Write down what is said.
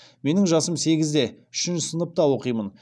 менің жасым сегізде үшінші сыныпта оқимын